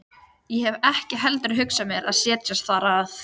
Ég hef ekki heldur hugsað mér að setjast þar að.